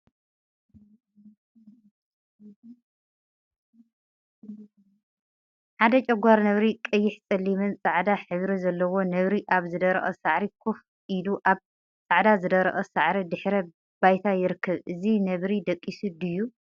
ሓደ ጨጓር ነብሪ ቀይሕ፣ ፀሊምን ፃዕዳን ሕብሪ ዘለዎ ነብሪ አብ ዝደረቀ ሳዕሪ ኮፍ ኢሉ አብ ፃዕዳ ዝደረቀ ሳዕሪ ድሕረ ባይታ ይርከብ፡፡ እዚ ነብሪ ደቂሱ ድዩ?